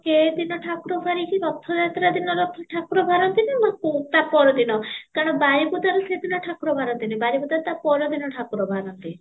ସେ ଦିନ ଠାକୁର ବାହାରି କି ରଥ ଠାକୁର ବାହାରନ୍ତି ନା ତା ପ୍ର ଦିନ କାରଣ ବାରିପଦା ରେ ସେଇ ଦିନ ଠାକୁର ବାହରନ୍ତି ନାହିଁ ବାରିପଦା ରେ ତା ପର ଦିନ ଠାକୁର ବାହାରନ୍ତି